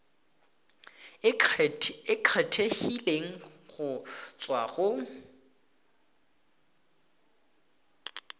e kgethegileng go tswa go